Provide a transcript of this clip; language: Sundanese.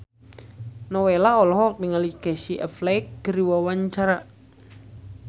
Nowela olohok ningali Casey Affleck keur diwawancara